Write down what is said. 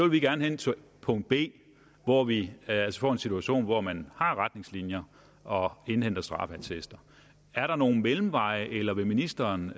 vi gerne hen til punkt b hvor vi altså får en situation hvor man har retningslinjer og indhenter straffeattester er der nogen mellemveje eller vil ministeren